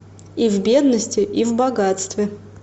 и в бедности и в богатстве